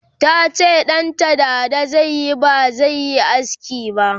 tace ɗanta dada zaiyi bazaiyi aski ba